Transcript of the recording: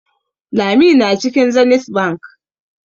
Lami na cikin Zenith Bank.